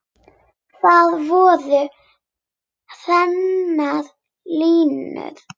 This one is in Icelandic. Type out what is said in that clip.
Þar voru hreinar línur.